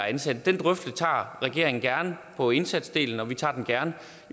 ansatte den drøftelse tager regeringen gerne på indsatsdelen og vi tager den gerne